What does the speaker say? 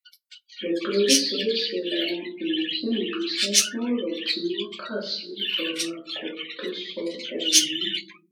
èpè oríṣiríṣiì làwọn èèyàn ṣì ń gbé e ṣe fún ọrọ tí wọn kà sí ọrọ àgọ tó sọ ohun